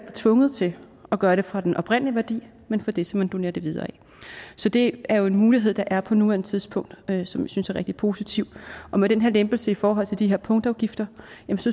tvunget til at gøre det for den oprindelige værdi men for det som man donerer det videre til så det er jo en mulighed der er på nuværende tidspunkt og som jeg synes er rigtig positiv og med den her lempelse i forhold til de her punktafgifter